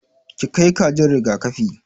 Ki kai kajin riga-kafi!